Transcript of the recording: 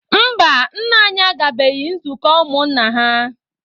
Mba, nna anyị agabeghị nzukọ ụmụ nna ha.